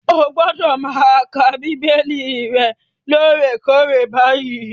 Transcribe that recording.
Ó gbọ́dọ̀ máa ka Bíbélì rẹ lóòrèkoòrè báyìí.